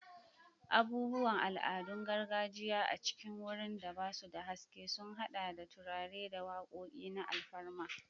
Abubuwan al'adun gargajiya a cikin wurin da ba su da haske sun haɗa da turare da wakoki na alfarma.